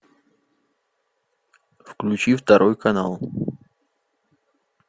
включи второй канал